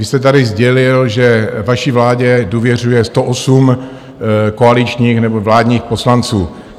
Vy jste tady sdělil, že vaši vládě důvěřuje 108 koaličních nebo vládních poslanců.